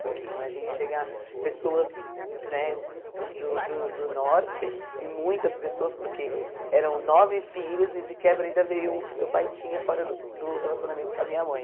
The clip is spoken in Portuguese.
Porque imagine chegar pessoas né do do do norte e muitas pessoas, porque eram nove filhos e de quebra ainda veio um que meu pai tinha fora do do relacionamento com a minha mãe.